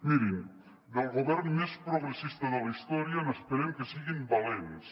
mirin del govern més progressista de la història n’esperem que siguin valents